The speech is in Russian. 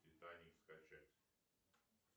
титаник скачать